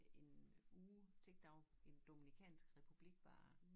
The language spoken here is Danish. En uge til derovre i Den Dominikanske Republik bare